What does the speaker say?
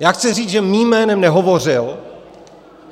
Já chci říct, že mým jménem nehovořil,